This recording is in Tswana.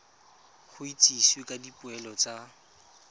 go itsisiwe ka dipoelo tsa